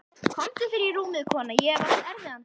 Komdu þér í rúmið, kona, ég hef átt erfiðan dag.